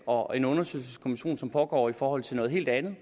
og en undersøgelseskommission som pågår i forhold til noget helt andet i